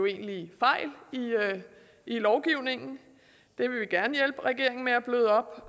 egentlige fejl i lovgivningen det vil vi gerne hjælpe regeringen med at bløde op